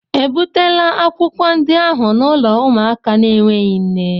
Ebutela akwụkwọ ndị ahụ n'ụlọ ụmụaka na-enweghị nne?